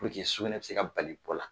Purke sukunɛtɛ tɛ se ka bali bɔ la